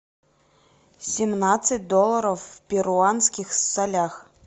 семнадцать долларов в перуанских солях